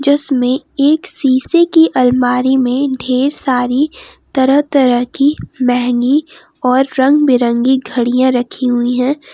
इसमें एक शीशे की अलमारी में ढेर सारी तरह तरह की मेहंगी और रंग बिरंगी घड़ियां रखी हुई हैं।